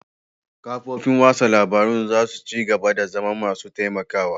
Kafofin watsa labarun za su ci gaba da zama masu taimakawa